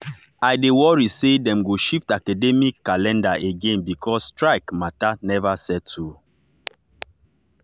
i dey worry say dem go shift academic calendar again because strike matter never settle.